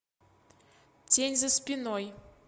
тень за спиной